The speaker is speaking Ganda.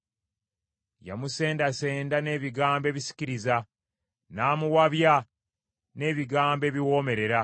Yamusendasenda n’ebigambo ebisikiriza; n’amuwabya n’ebigambo ebiwoomerera.